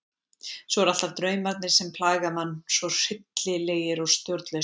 Svo eru alltaf draumarnir sem plaga mann svo hryllilegir og stjórnlausir.